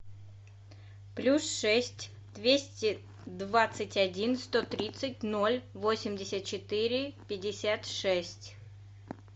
плюс шесть двести двадцать один сто тридцать ноль восемьдесят четыре пятьдесят шесть